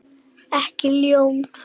Ekki ljón.